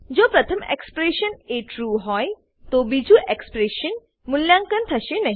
જો પ્રથમ એક્સપ્રેશન એ ટ્રૂ હોય તો બીજું એક્સપ્રેશન નું મૂલ્યાંકન થશે નહી